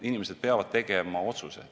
Inimesed peavad tegema otsuse.